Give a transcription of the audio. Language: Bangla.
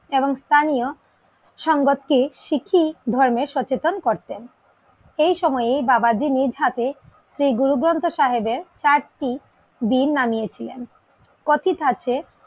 এবং স্থানীয় সংবাদ টি শিখি ধর্মে সচেতন করতেন এই সময়ে বাবাজি নিজহাতে শ্রী গুরু গ্রন্থ সাহেবের চারটি দিন নামিয়ে ছিলেন কথিত আছে